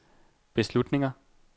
beslutninger